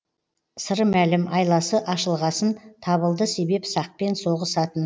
сыры мәлім айласы ашылғасын табылды себеп сақпен соғысатын